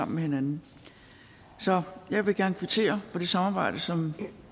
med hinanden så jeg vil gerne kvittere for det samarbejde som